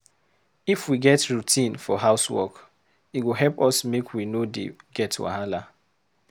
If we get routine for house work, e go help us make we no dey get wahala.